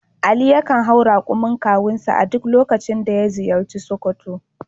Ali yakan hau rakumin kawunsa a duk lokacin da ya ziyarci Sokoto.